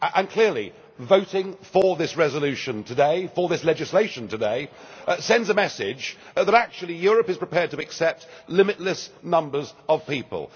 Clearly, voting for this resolution today for this legislation today sends a message that actually Europe is prepared to accept limitless numbers of people.